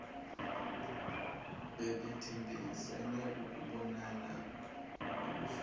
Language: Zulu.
babethembisene ukubonana ubuso